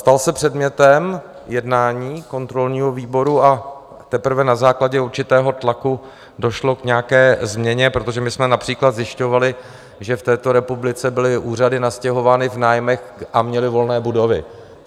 Stal se předmětem jednání kontrolního výboru a teprve na základě určitého tlaku došlo k nějaké změně, protože my jsme například zjišťovali, že v této republice byly úřady nastěhovány v nájmech a měly volné budovy.